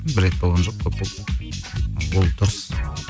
бір рет болған жоқ көп болды ол дұрыс